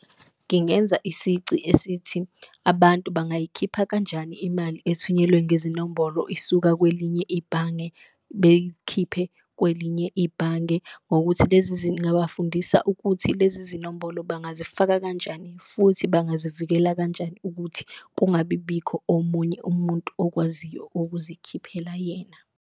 Ngingenza isici esithi abantu bangayikhipha kanjani imali ethunyelwe ngezinombolo isuka kwelinye ibhange beyikhiphe kwelinye ibhange, ngokuthi lezi , ngabafundisa ukuthi lezi zinombolo bangazifaka kanjani futhi bangazivikela kanjani, ukuthi kungabi bikho omunye umuntu okwaziyo ukuzikhiphela yena.